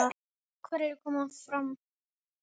Hverjir koma fram?